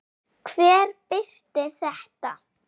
Hver birti þetta?